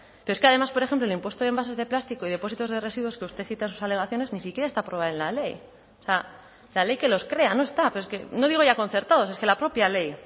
pero es que además por ejemplo el impuesto de envases de plástico y depósitos de residuos que usted cita en sus alegaciones ni siquiera está aprobado en la ley o sea la ley que los crea no está pero es que no digo ya concertados es que la propia ley